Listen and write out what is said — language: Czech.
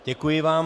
Děkuji vám.